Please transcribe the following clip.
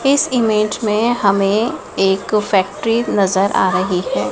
इस इमेज़ में हमें एक फैक्ट्री नजर आ रही है।